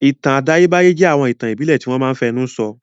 Ìtàn àtayébáyé jẹ́ àwọn ìtàn ìbílẹ̀ tí wọ́n máa n fẹnu sọ